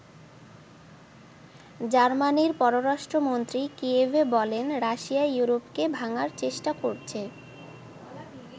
জার্মানির পররাষ্ট্রমন্ত্রী কিয়েভে বলেন রাশিয়া ইউরোপকে ভাঙ্গার চেষ্টা করছে।